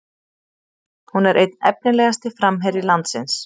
Hún er einn efnilegasti framherji landsins